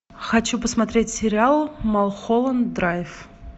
хочу посмотреть сериал малхолланд драйв